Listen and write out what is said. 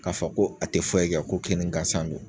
K'a fɔ ko a ti foyi kɛ, ko kinni gansan don